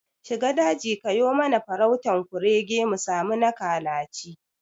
Shiga daji kayo mana farautan kurege musami na kalaci